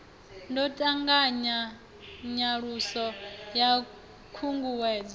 ḓo ṱanganya nyaluso ya khunguwedzo